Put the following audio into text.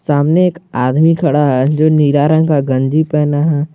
सामने एक आदमी खड़ा है जो नीला रंग का गंजी पहना है।